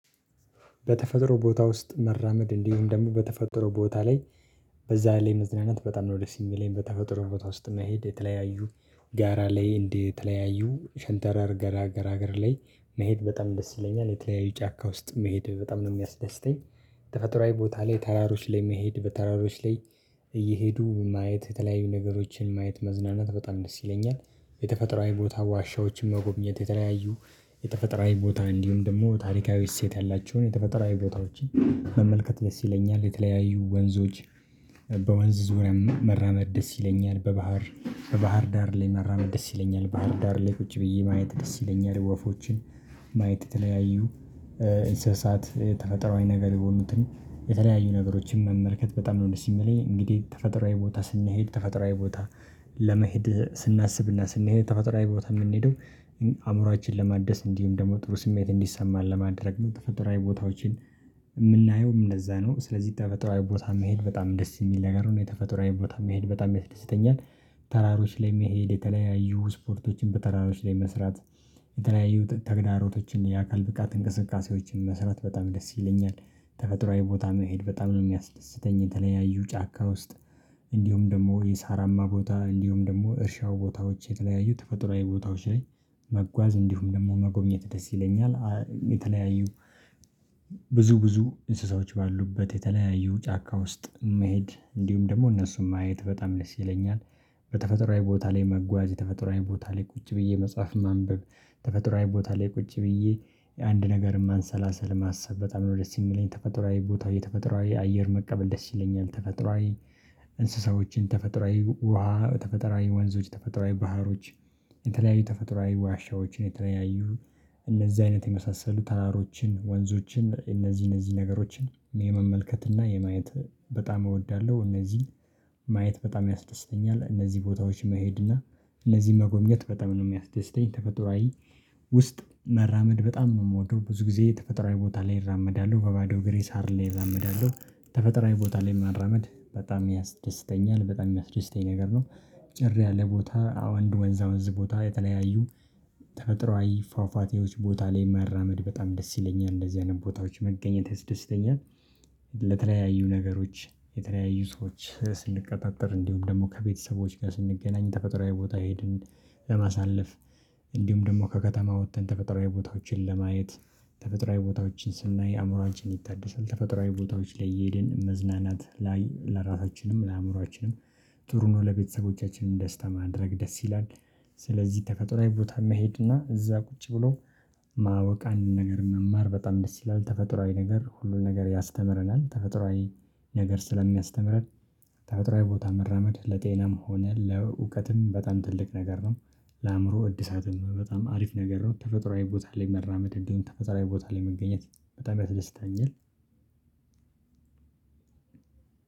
በተፈጥሮ ቦታ ውስጥ መራመድ እንዲሁም ደሞ በተፈጥሮ ቦታ ላይ በዛ ላይ መዝናናት በጣም ነው ደስ እሚለኝ። በተፈጥሮ ቦታ ውስጥ መሄድ የተለያዩ ጋራ ላይ እንደተለያዩ ሸንተራር ጋራ ጋራ ላይ መሄድ በጣም ደስ ይለኛል የተለያዩ ጫካ ውስጥ መሄድ በጣም ነው እሚያስደስተኝ። ተፈጥሮአዊ ቦታ ላይ ተራሮች ላይ መሄድ በተራሮች ላይ እየሄዱ ማየት የተለያዩ ነገሮችን ማየት መዝናናት በጣም ደስ ይለኛል። የተፈጥሯዊ ቦታ ዋሻዎችን መጎብኘት የተለያዩ የተፈጥሯዊ ቦታን እንዲሁም ደሞ ታሪካዊ እሴት ያላቸውን የተፈጠራዊ ቦታዎችን መመልከት ደስ ይለኛል የተለያዩ ወንዞች በወንዝ ዙሪያም መራመድ ደስ ይለኛል። በባህር በባህር ዳር ላይ መራመድ ደስ ይለኛል ባህር ዳር ላይ ቁጭ ብዬ ማየት ደስ ይለኛል። ወፎችን ማየት የተለያዩ እንስሳት የተፈጥሯዊ ነገር የሆኑትን የተለያዩ ነገሮችን መመልከት በጣም ነው ደስ እሚለኝ። እንግዲህ ተፈጥሮአዊ ቦታ ስንሄድ ተፈጥሮአዊ ቦታ ለመሄድ ስናስብና ስንሄድ ተፈጥሯዊ ቦታ እምንሄደው አእምሯችን ለማደስ እንዲሁም ደግሞ ጥሩ ስሜት እንዲሰማን ለማድረግ ነው። ተፈጥሯዊ ቦታዎችን እምናየውም ለዛ ነው ስለዚህ ተፈጥሯዊ ቦታ መሄድ በጣም ደስ እሚል ነገር ነው የተፈጥሯዊ ቦታ መሄድ በጣም ያስደስተኛል። ተራሮች ላይ መሄድ የተለያዩ ስፖርቶችን በተራሮች ላይ መስራት የተለያዩ ተግዳሮቶችን የአካል ብቃት እንቅስቃሴዎችን መስራት በጣም ደስ ይለኛል። ተፈጥሮአዊ ቦታ መሄድ በጣም ነው እሚያስደስተኝ የተለያዩ ጫካ ውስጥ እንዲሁም ደግሞ የሳራማ ቦታ እንዲሁም ደግሞ እርሻው ቦታዎች የተለያዩ ተፈጥሯዊ ቦታዎች ላይ መጓዝ እንዲሁም ደግሞ መጎብኘት ደስ ይለኛል። የተለያዩ ብዙ ብዙ እንስሳዎች ባሉበት የተለያዩ ጫካ ውስጥ መሄድ እንዲሁም ደሞ እነሱን ማየት በጣም ደስ ይለኛል። በተፈጥሯዊ ቦታ ላይ መጓዝ የተፈጥሯዊ ቦታ ላይ ቁጭ ብዬ መጽሐፍ ማንበብ ተፈጥሯዊ ቦታ ላይ ቁጭ ብዬ አንድ ነገር ማንሰላሰል ማሰብ በጣም ነው ደስ እሚለኝ ተፈጥሯዊ ቦታው የተፈጥሯዊ አየር መቀበል ደስ ይለኛል። ተፈጥሯዊ እንስሳዎችን ተፈጥሯዊ ውሃ ተፈጥሯዊ ወንዞች ተፈጥሯዊ ባህሮች የተለያዩ ተፈጥሯዊ ዋሻዎችን የተለያዩ እነዚህ አይነት የመሳሰሉ ተራሮችን ወንዞችን እነዚህ እነዚህ ነገሮችን የመመልከት እና የማየት በጣም እወዳለሁ። እነዚህ ማየት በጣም ያስደስተኛል እነዚህ ቦታዎች መሄድ እና እነዚህ መጎብኘት በጣም ነው የሚያስደስተኝ። ተፈጥሯዊ ውስጥ መራመድ በጣም እምወደው ብዙ ጊዜ ተፈጥሯዊ ቦታ ላይ እራመዳለሁ በባዶ እግሬ ሳር ላይ እራመዳለሁ ተፈጥሮአዊ ቦታ ላይ መራመድ በጣም ያስደስተኛል በጣም እሚያስደስተኝ ነገር ነው። ጭር ያለ ቦታ እንደ ወንዛ ወንዝ ቦታ የተለያዩ ተፈጥሯዊ ፋፋቴዎች ቦታ ላይ መራመድ በጣም ደስ ይለኛል እንደዚህ አይነት ቦታዎች መገኘት ያስደስተኛል። ለተለያዩ ነገሮች የተለያዩ ሰዎች ስንቀጣጠር እንዲሁም ደግሞ ከቤተሰቦች ጋር ስንገናኝ ተፈጥሮአዊ ቦታ ሄድን ለማሳለፍ እንዲሁም ደግሞ ከከተማ ወጥተን ተፈጥሯዊ ቦታዎችን ለማየት ተፈጥሯዊ ቦታዎችን ስናይ አእምሮአንችን ይታደሳል ተፈጥሯዊ ቦታዎች ላይ እየሄድን መዝናናት ላይ ለራሳችንም ለአዕምሯችንም ጥሩ ነው ለቤተሰቦቻችንም ደስታ ማድረግ ደስ ይላል። ስለዚህ ተፈጥሯዊ ቦታ መሄድ እና እዛ ቁጭ ብሎ ማወቅ አንድን ነገር መማር በጣም ደስ ይላል። ተፈጥሯዊ ነገር ሁሉን ነገር ያስተምረናል ተፈጥሯዊ ነገር ስለሚያስተምረን ታጥሯዊ ቦታ መራመድ ለጤናም ሆነ ለዕውቀትም በጣም ትልቅ ነገር ነው። ለአእምሮ እድሳትም በጣም አሪፍ ነገር ነው። ተፈጥሯዊ ቦታ ላይ መራመድ እንዲሁም ተፈጥሯዊ ቦታ ላይ መገኘት በጣም ደስተኛል።